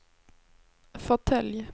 fåtölj